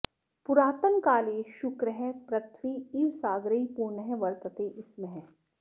पूरातनकाले शुक्रः पृथ्वी इव सागरैः पूर्णः वर्तते स्म